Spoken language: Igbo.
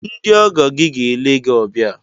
Ndị ọgọ gị ga-ele gị obia